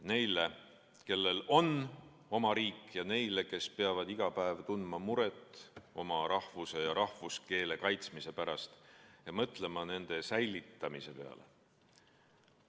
Neile, kellel on oma riik, ja neile, kes peavad iga päev tundma muret oma rahvuse ja rahvuskeele kaitsmise pärast ja mõtlema nende säilitamise peale.